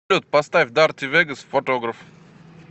салют поставь дарти вегас фотограф